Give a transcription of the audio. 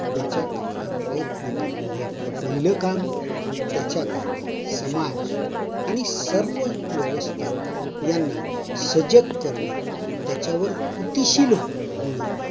याच्याकरता प्रयत्न करण हे आपल पहिल काम आणि त्याच्या करता समाज आणि सर्व व्यवस्था यांना सजग करण, त्याच्यावर कृतिशील होण